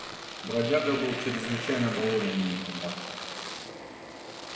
бродяга был чрезвычайно доволен моим подарком